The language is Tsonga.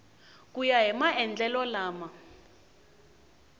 ku ya hi maendlelo lama